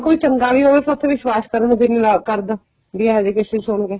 ਕੋਈ ਚੰਗਾਂ ਵੀ ਹੋਵੇ ਪਰ ਉੱਥੇ ਵਿਸ਼ਵਾਸ ਕਰਨ ਨੂੰ ਦਿਲ ਨਹੀਂ ਕਰਦਾ ਵੀ ਅਹਿਜੇ cases ਸੁਣਕੇ